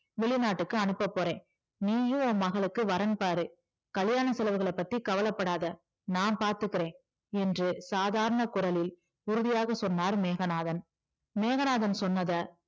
வெளிநாட்டுக்கு அனுப்பபோறேன் நீயும் உன் மகளுக்கு வரன் பாரு கல்யாண செலவுகளப்பத்தி கவலைப்படாத நான் பாத்துக்கறேன் என்று சாதாரண குரலில் உறுதியாக சொன்னார் மேகநாதன் மேகநாதன் சொன்னதை